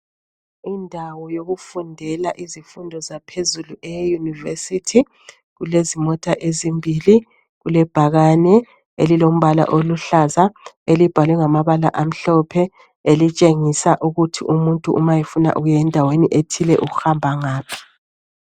Indawo yokufundela izifundo zaphezulu euniversithi kulezimota ezimbili kulebhakane elilombala oluhlaza elibhalwe ngamabala amhlophe elitshengisa ukuthi umuntu uma efuna ukuyendaweni etile uhamba ngaphi.